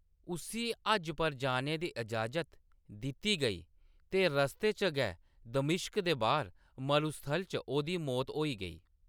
उस्सी हज पर जाने दी इजाज़त दित्ती गेई ते रस्ते च गै दमिश्क दे बाह्‌‌र मरूस्थल च ओह्‌‌‌दी मौत होई गेई।